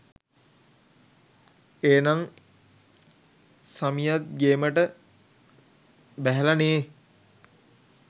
ඒනං සමියත් ගේමට බැහැල නේහ්!